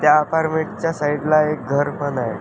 त्या अपार्टमेंटच्या साइडला एक घर पण आहे.